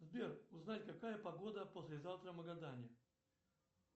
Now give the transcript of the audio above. сбер узнай какая погода послезавтра в магадане